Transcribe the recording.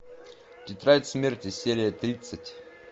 тетрадь смерти серия тридцать